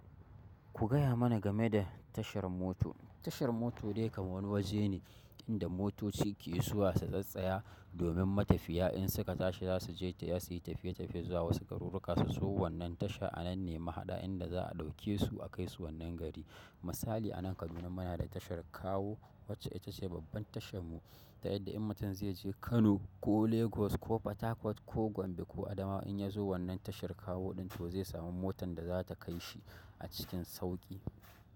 Ku gaya mana game da tashar moto. Tashar moto dai kam wani waje ne inda motoci ke zuwa su tsattsaya domin matafiya in suka tashi za su je ta ya siyi tafiye-tafiye zuwa wasu garurruka su zo wannan tasha a nan ne mahaɗa inda za'a ɗauke su a kai su wannan gari. Misali anan Kaduna muna da tashar kawo wacce ita ce babban tashan mu. Tayadda in mutum zai je Kano ko Lagos ko Fatakwat ko Gombe ko Adamawa in ya zo wannan tashar kawo ɗin to zai samu motan da zata kai shi a cikin sauƙi.